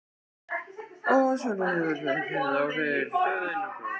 Sunna: Hefur þetta áhrif á ykkar stöðu innan flokksins?